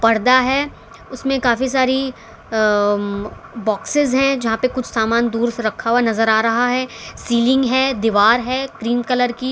पर्दा है उसमें काफी सारी अम बॉक्सेस हैं जहां पे कुछ सामान दूर से रखा हुआ नजर आ रहा है सीलिंग है दीवार है क्रीम कलर की।